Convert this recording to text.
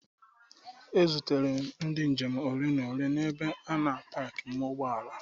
E zutere ndị njem ole na ole n'ebe a na paki ụgbọala.